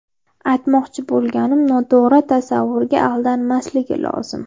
Aytmoqchi bo‘lganim, noto‘g‘ri tasavvurga aldanmasligi lozim.